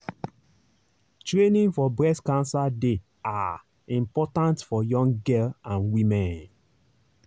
training for breast cancer dey ah important for young girl and women.